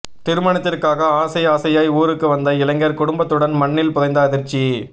திருமணத்திற்காக ஆசை ஆசையாய் ஊருக்கு வந்த இளைஞர் குடும்பத்துடன் மண்ணில் புதைந்த அதிர்ச்சி